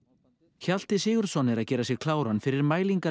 Hjalti Sigurðsson er að gera sig kláran fyrir